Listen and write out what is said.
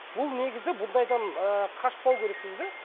бұл негізі бұндайдан ыыы қашпау керекпіз де